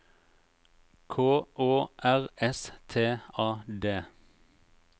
K Å R S T A D